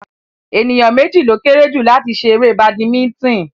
Ènìyàn méjì ló kéré jù láti ṣe eré badimítìn